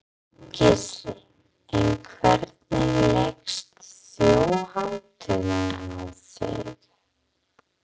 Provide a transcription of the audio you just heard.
Gísli: En hvernig leggst Þjóðhátíðin í þig?